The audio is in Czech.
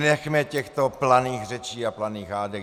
Nechme těchto planých řečí a planých hádek.